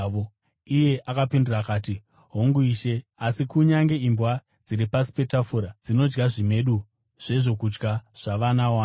Iye akapindura akati, “Hongu Ishe, asi kunyange imbwa dziri pasi petafura dzinodya zvimedu zvezvokudya zvavana wani.”